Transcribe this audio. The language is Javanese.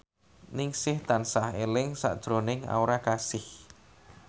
Ningsih tansah eling sakjroning Aura Kasih